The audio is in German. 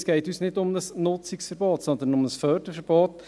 – Es geht uns nicht um ein Nutzungsverbot, sondern um ein Förderverbot.